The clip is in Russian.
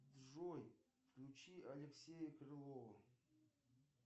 джой включи алексея крылова